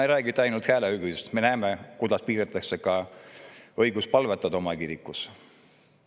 Ei räägita ainult hääleõigusest, me näeme, kuidas piiratakse ka õigust oma kirikus palvetada.